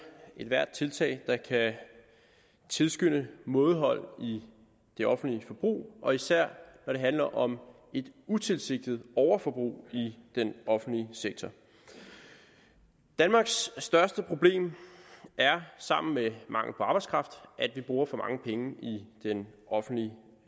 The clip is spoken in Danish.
ethvert tiltag der kan tilskynde mådehold i det offentlige forbrug og især når det handler om et utilsigtet overforbrug i den offentlige sektor danmarks største problem er sammen med mangel på arbejdskraft at vi bruger for mange penge i den offentlige